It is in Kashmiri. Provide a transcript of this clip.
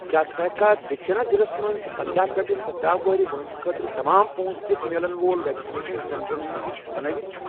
کیٛاہ ژٕ ہیٚککھا دکشِنہ ضلعس مَنٛز پندہَ پیٹھ سدہَ وُہُر وٲنٛسہِ خٲطرٕ تمام پونٛسہٕ دِتھ میلن وول ویکسِنیشن سینٹرن ہُنٛد لسٹ بنٲوِتھ؟